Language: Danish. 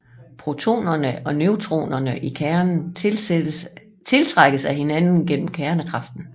Protonerne og neutronerne i kernen tiltrækkes af hinanden gennem kernekraften